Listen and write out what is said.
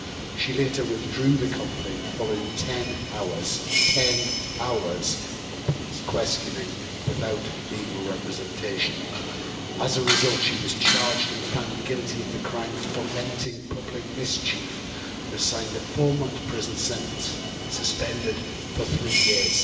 She later withdrew the complaint following 10 hours 10 hours of police questioning without legal representation. As a result, she was charged and found guilty of the crime fomenting public mischief' and assigned a four-month prison sentence, suspended for three years.